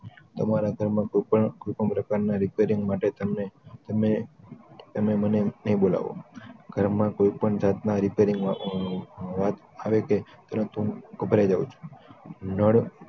તમારા ઘર માં કોઈ પણ કોઈ પણ પ્રકાર ના repairing માટે તમે મને ણય બોલાવો ઘરમાં કોઈ પણ જાતના repairing ની વાત આવે કે તુરંત હું ગભરાય જાવ છુ